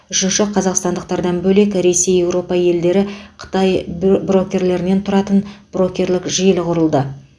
үшінші қазақстандықтардан бөлек ресей еуропа елдері қытай брокерлерінен тұратын брокерлік желі құрылды